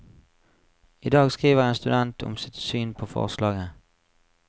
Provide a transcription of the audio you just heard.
I dag skriver en student om sitt syn på forslaget.